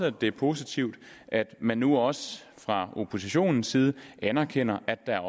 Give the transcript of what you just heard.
at det er positivt at man nu også fra oppositionens side anerkender at der